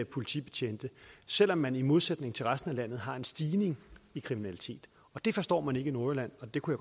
politibetjente selv om man i modsætning til resten af landet har en stigning i kriminaliteten det forstår man ikke i nordjylland og det kunne